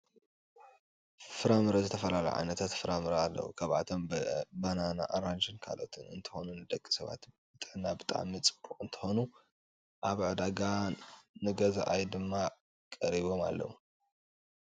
ፍራምረ ዝተፈላለዩ ዓይነት ፍራምረ ኣለው ካብኣቶም በናና ኣራንሽን ካልኦትን እንትኮኑ ንደቂ ሰባት ንጥዕና ብጣዕሚ ፅቡቅ እንትኮኑ ኣብ ዕዳጋ ንገዛኣይ ድማ ቀሪቦም ኣለዉ።